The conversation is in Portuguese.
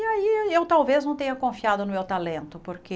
E aí aí eu talvez não tenha confiado no meu talento, porque...